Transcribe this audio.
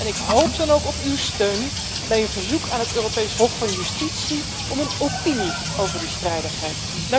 Ik hoop dan ook op uw steun bij een verzoek aan het Europees Hof van Justitie om een opinie over die strijdigheid.